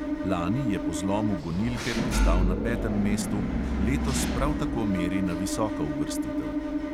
Lani je po zlomu gonilke pristal na petem mestu, letos prav tako meri na visoko uvrstitev.